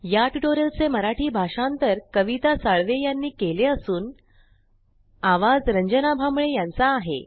या ट्यूटोरियल चे मराठी भाषांतर कविता साळवे यानी केले असून आवाज रंजना भांबळे यांचा आहे